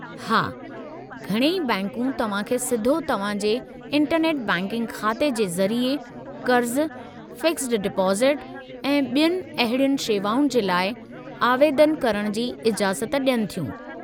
हा, घणई बैंकूं तव्हां खे सिधो तव्हां जे इंटरनेट बैंकिंग ख़ाते जे ज़रिए क़र्ज़ु, फ़िक्सड डिपोज़िट ऐं ॿियुनि अहिड़ियुनि शेवाउनि जे लाइ आवेदनु करण जी इजाज़त ॾियनि थियूं।